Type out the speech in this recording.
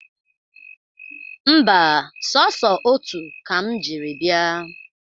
Mba, sọsọ otu ka m jiri bịa